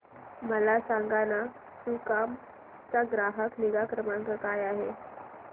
मला सांगाना सुकाम चा ग्राहक निगा क्रमांक काय आहे